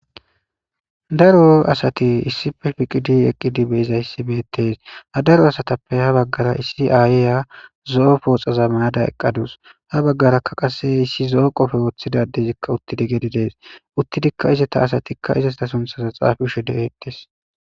Daro asati issippe gididi ha daro asatappe ha bagara issi ayiya zo'o poxaza mayada eqadus ha bagaraka qase issi zo'o qope wothidaysi uttidikas gede des uttidika izeta asatika izeta suntha xapiza de'etes